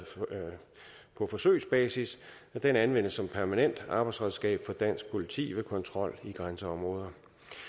på forsøgsbasis anvendes som permanent arbejdsredskab for dansk politi ved kontrol i grænseområder